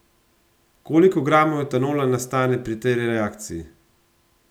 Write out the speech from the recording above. Koliko gramov etanola nastane pri tej reakciji?